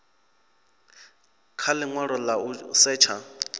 kha linwalo la u setsha